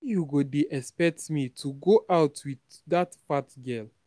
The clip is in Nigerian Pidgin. how you go dey expect me to go out with dat fat girl